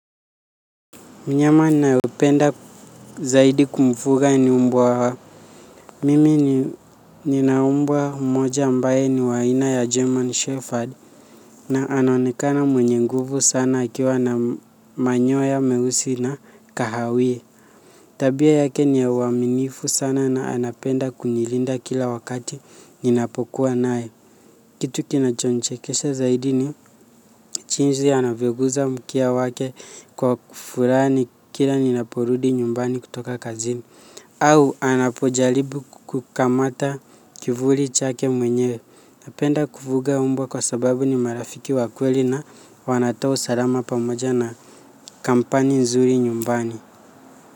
Mnyama ninaye penda zaidi kumfuga ni mbwa. Mimi nina mbwa mmoja ambaye ni wa aina ya German Shepherd na anaonekana mwenye nguvu sana akiwa na manyoya meusi na kahawia. Tabia yake ni ya uaminifu sana na anapenda kunilinda kila wakati ninapokuwa naye. Kitu kinacho nichekesha zaidi ni jinsi anavyoguza mkia wake kwa kufurahi kila ninaporudi nyumbani kutoka kazini. Au anapojaribu kukamata kivuli chake mwenyewe. Napenda kufuga mbwa kwa sababu ni marafiki wa kweli na wanatoa usalama pamoja na kampani nzuri nyumbani.